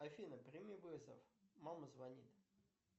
афина прими вызов мама звонит